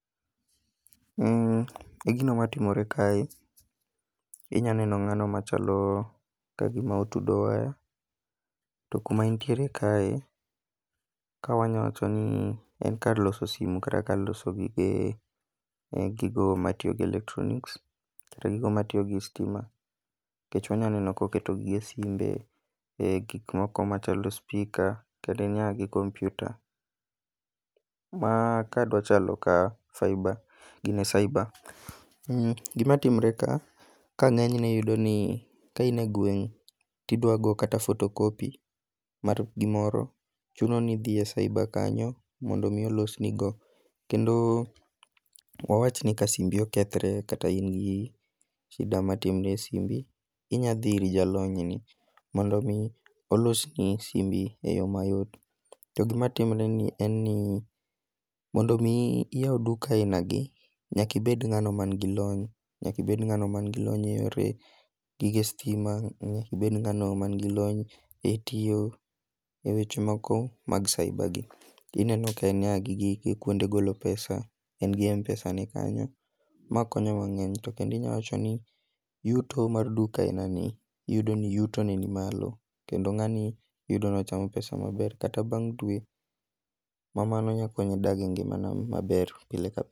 Gino matimore kae, inyalo neno ng'ano machalo kagima otudo waya, to kuma entiere kae ka wanyalo wacho ni en kar loso simu kata kar loso gige gigo matiyo gi electronics kata gigo matiyo gi sitima. Ochung' aneno ka oketo gi e simbe, gik moko machalo speaker kata nyaka gi kompiuta. Ma ka dwa chalo kar cyber gin e cyber Gima timore ka, kae ng'eny ne iyudo ka in e gweng' to idwaro goyo kata photocopy mar gimoro, chuno ni idhi e cybre kanyo mondo mi olosnigo. Kendo wawach ni ka simbi okethre kata in gi shida matimre e simbi, inyalo dhi ir jalony ni mondo mi olosni simbi eyo mayot. To gima timre ni en ni mondo mi iyaw duka ainagi, nyaka ibed ng'ano man gi lony, nyaka ibed ng'ano man gi lony eyore gige sitima, nyaka ibed ng'ano man gi lony etiyo eweche moko mag cyber gi. Ineno ka en nyaka gi gige kuonde golo pesa en gi m-pesane kanyo, makonyowa to kendo inyalo wacho ni yuto mar duka ainani iyudo ni yutone ni malo kendo ng'ani iyudo ni ochamo pesa maber kata bang' dwe, mamano nyalo konye odag e ngima no maber pile ka pile.